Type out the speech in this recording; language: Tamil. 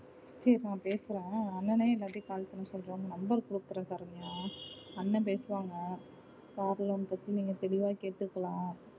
பேசுறோம் பேசுறோம் அண்ணனே call பண்ண சொல்ற உங்க number கொடுக்கிற சரண்யா அண்ணா பேசுவாங்க car loan பத்தி நீங்க தெளிவா கேட்டுக்கலாம்